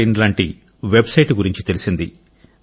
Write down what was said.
in లాంటి website గురించి తెలిసింది